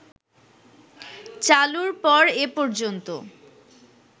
চালুর পর এ পর্যন্ত